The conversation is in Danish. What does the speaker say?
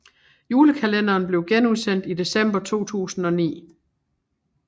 Julekalenderen blev genudsendt i december 2009